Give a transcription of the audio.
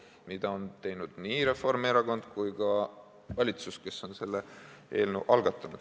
Seda on küll teinud nii Reformierakond kui ka valitsus, kes on selle eelnõu algatanud.